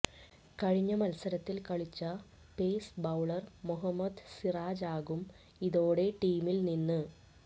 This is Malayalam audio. കഴിഞ്ഞ മത്സരത്തിൽ കളിച്ച പേസ് ബൌളർ മൊഹമ്മദ് സിറാജാകും ഇതോടെ ടീമിൽ നിന്ന്